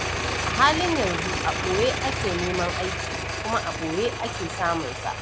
A halin yanzu a ɓoye ake neman aiki, kuma a ɓoye ake samunsa.